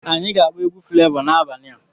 Ee anya ga-akpọ egwu Flevọ n'abalị a.